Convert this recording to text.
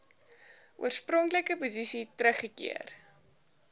oorspronklike posisie teruggekeer